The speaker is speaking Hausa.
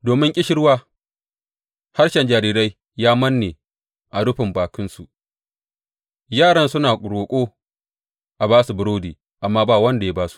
Domin ƙishirwa harshen jarirai ya manne a rufin bakinsu; yaran suna roƙo a ba su burodi, amma ba wanda ya ba su.